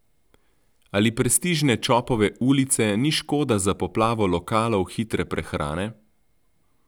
Ali prestižne Čopove ulice ni škoda za poplavo lokalov hitre prehrane?